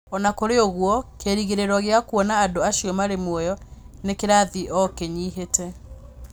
O na kũrĩ ũguo, kĩĩrĩgĩrĩro gĩa gũkuona andũ acio marĩ muoyo nĩ kĩrathiĩ o gĩkĩnyivĩte